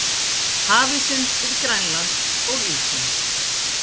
Hafísinn við Grænland- og Ísland